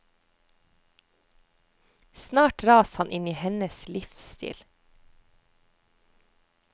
Snart dras han inn i hennes livsstil.